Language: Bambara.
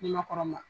Ni makɔrɔ ma